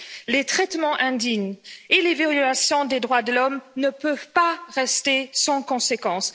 Les traitements indignes et les violations des droits de l'homme ne peuvent rester sans conséquences.